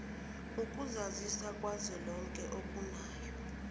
ukuzazisa kukazwelonke okunayo